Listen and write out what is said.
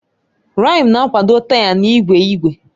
Rịm na-akwado taya na igwe igwe.